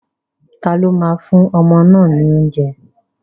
Taló máa fún ọmọ náà ní oúnjẹ?